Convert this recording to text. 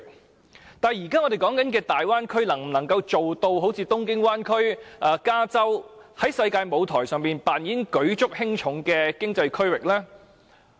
不過，我們現在所談論的大灣區能否一如東京灣或加州般，在世界舞台上扮演舉足輕重的經濟區域呢？